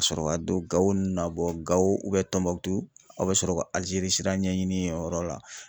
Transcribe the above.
Kasɔrɔ ka don Gao nn na bɔ Gao u bɛ Tombouctou aw bɛ sɔrɔ ka Algérie sira ɲɛ ɲini o yɔrɔ la.